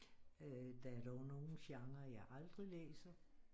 Der er dog nogle genrer jeg aldrig læser